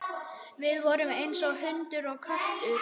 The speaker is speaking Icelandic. Við vorum eins og hundur og köttur.